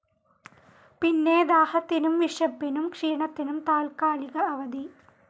പിന്നെ ദാഹത്തിനും വിശപ്പിനും ക്ഷീണത്തിനും താൽക്കാലിക അവധി.